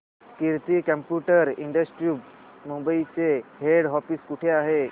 कीर्ती computer institute Mumbai चे head office कुठे आहे